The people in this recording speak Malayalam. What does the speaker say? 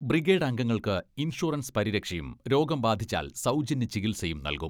ബ്രിഗേഡ് അംഗങ്ങൾക്ക് ഇൻഷുറൻസ് പരിരക്ഷയും രോഗം ബാധിച്ചാൽ സൗജന്യ ചികിത്സയും നൽകും.